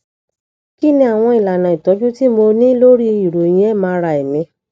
kí ni àwọn ìlànà ìtójú tí mo ní lórí ìròyìn mri mi